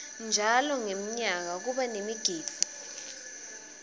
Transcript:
njalo ngemnyaka kuba nemigidvo